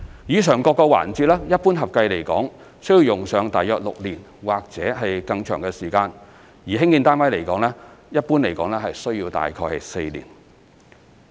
以上各個環節一般合共需用上約6年或以上的時間，而興建單位一般大約需要4年。